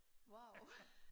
Wow